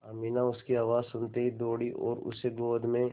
अमीना उसकी आवाज़ सुनते ही दौड़ी और उसे गोद में